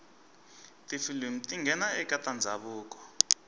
tifilimu tingena ekatandzavuko